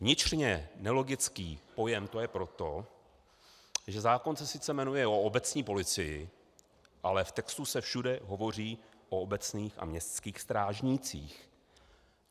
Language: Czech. Vnitřně nelogický pojem to je proto, že zákon se sice jmenuje "o obecní policii", ale v textu se všude hovoří o obecních a městských strážnících.